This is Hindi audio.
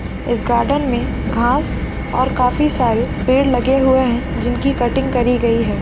इस गार्डन में घास और काफी सारे पेड़ लगे हुए हैं जिनकी कटिंग करी गयी है।